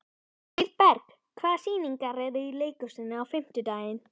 Hlíðberg, hvaða sýningar eru í leikhúsinu á fimmtudaginn?